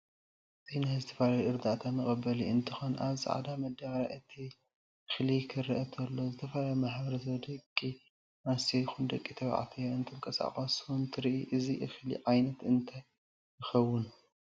እዚ ዝተፈላላዩ ናይ ርዳኣታ መቀበሊ እንትከን ኣብ ፃዕዳ መደበርያ እቲ እክል ክረአ ተሎ ዝተፈላላየሁ ማሕበረሰብ ደቂ ኣንስትዮ ይኩን ደቂ ተበዕትዮ እንትንቃሰቀሱ እንትርኢ እዚ እክሊ ዓይነት እንታይ ይከውን?